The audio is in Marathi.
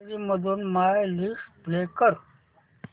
गॅलरी मधून माय लिस्ट प्ले कर